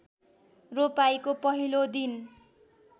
रोपाइँको पहिलो दिन